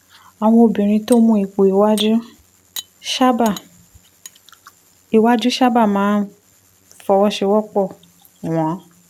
àwọn obìnrin tó ń mú ipò iwájú sábà iwájú sábà máa ń máa ń fọwọ́ sowọ́ pọ̀ wọ́n